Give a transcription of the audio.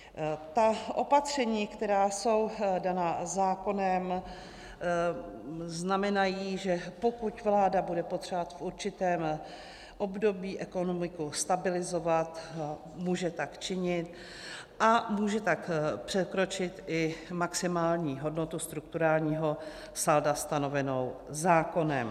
Ta opatření, která jsou daná zákonem, znamenají, že pokud vláda bude potřebovat v určitém období ekonomiku stabilizovat, může tak činit a může tak překročit i maximální hodnotu strukturálního salda stanovenou zákonem.